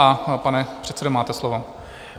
A pane předsedo, máte slovo.